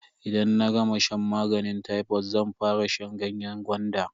Idan na gama shan maganin tayfod zan fara shan ganyen gwanda.